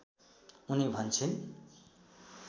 उनी भन्छिन्